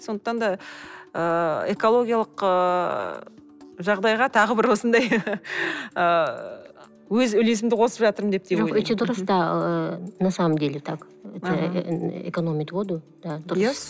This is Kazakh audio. сондықтан да ыыы экологиялық ыыы жағдайға тағы бір осындай ыыы өз үлесімді қосып жатырмын деп на самом деле так это экономит воду да дұрыс